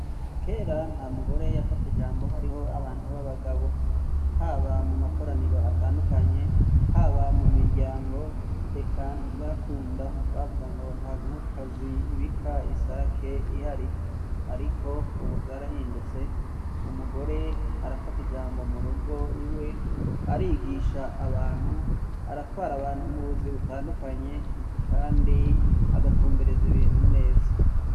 Kera nta mugore yafata ijambo hariho abantu b'abagabo; haba mu makoraniro atandukanye, haba mu miryango eka ntivyakunda bavuga ngo nta nkokokazi ibika isake ihari. Ariko ubu vyarahindutse umugore arafata ijambo mu rugo iwe, arigisha abantu, aratwara abantu mu buzi butandukanye kandi agatumbereza ibintu neza.